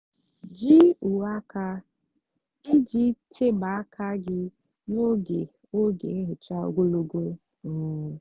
jí úwé ákà íjì chebe ákà gị n'ógè ógè nhicha ógologo. um